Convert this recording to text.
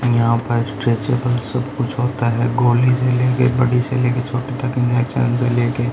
और यहां पर स्ट्रेचेबल सब कुछ होता है गोली से लेके एक बड़ी से लेके छोटी तक ।